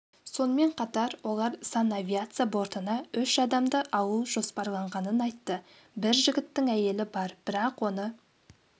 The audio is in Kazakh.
сонымен қатар олар санавиация бортына үш адамды алу жоспарланғанын айтты бір жігіттің әйелі бар бірақ оны